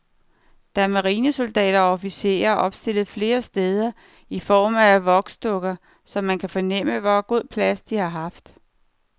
Der er marinesoldater og officerer opstillet flere steder i form af voksdukker, så man kan fornemme, hvor god plads de har haft.